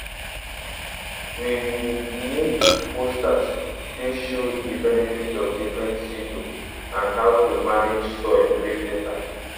we um make posters wey show the benefit of different seed um and how to manage soil wey fertile